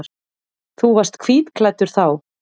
Þú varst hvítklæddur þá.